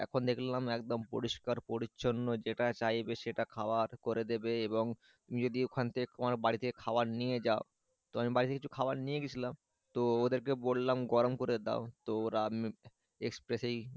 এখন দেখলাম একদম পরিষ্কার পরিচ্ছন্ন যেটা চাইবে সেটা খাওয়ার করে দেবে এবং তুমি যদি ওখান থেকে তোমার বাড়ি থেকে খাবার নিয়ে যাও তো আমি বাড়ি থেকে কিছু খাবার নিয়ে গেছিলাম তো ওদেরকে বললাম গরম করে দাও তো ওরা, এক্সপ্রেসেই,